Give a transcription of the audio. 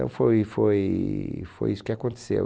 Então foi foi foi isso que aconteceu.